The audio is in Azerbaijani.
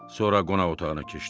Sonra qonaq otağına keçdi.